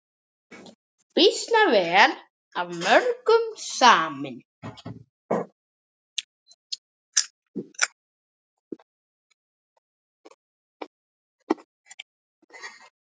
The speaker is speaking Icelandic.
Býsna vel af mörgum samin.